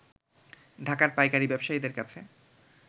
ঢাকার পাইকারী ব্যবসায়ীদের কাছে